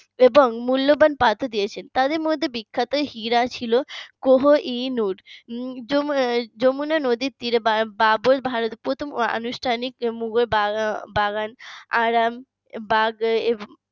এবং মূল্যবান পাথর দিয়েছেন তাদের মধ্যে বিখ্যাত হীরা ছিল কোহিনুর যমুনা যমুনা নদীর তীরে বাবর প্রথম আনুষ্ঠানিক মুঘল বাগান আরামবাগ